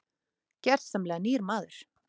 Gersamlega nýr maður.